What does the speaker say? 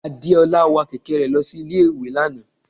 Adeola wa kẹkẹ re losí Ilé ìwè Lana.